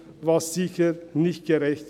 Das ist sicher nicht gerecht.